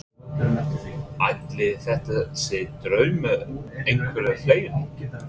Ætli þetta sé draumur einhverra fleiri?